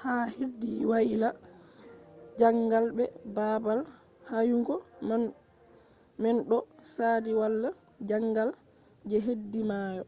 ha hedi waila jangal be babal yahugo man do sadi wala jangal je hedi mayo